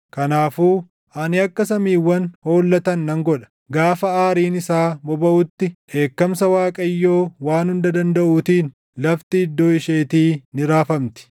Kanaafuu ani akka samiiwwan hollatan nan godha; gaafa aariin isaa bobaʼutti dheekkamsa Waaqayyoo Waan Hunda Dandaʼuutiin lafti iddoo isheetii ni raafamti.